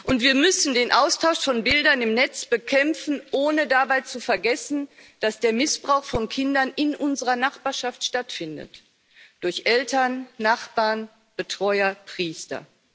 Und wir müssen den Austausch von Bildern im Netz bekämpfen, ohne dabei zu vergessen, dass der Missbrauch von Kindern in unserer Nachbarschaft stattfindet durch Eltern, Nachbarn, Betreuer, Priester.